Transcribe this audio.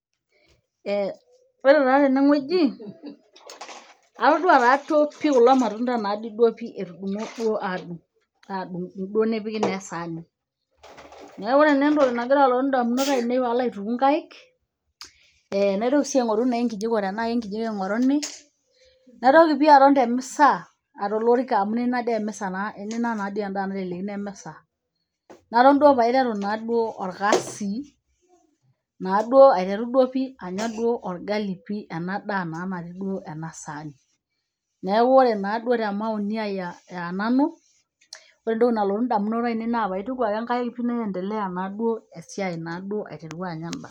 Ee ore taa teneweji atadoua taa pii kulo matunda amu duo nepika taa esaani, kake ore entoki nagira alotu ndamunot aainie naa nkaek, naitoki naa nai aingoru nkijikoni ,natoki aton temisa aingoru endaa amu we are connected, naton duo aiteru orkasi aiteru duo anyaa endaa natii enasaani, neaku ore temauni aai aa nanu , oreentoki naloltunalotu naituku nkaikesiai asipu.